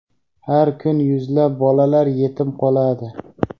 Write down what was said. har kun yuzlab bolalar yetim qoladi.